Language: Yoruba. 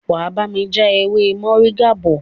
wá bami já ewé Moringa bó.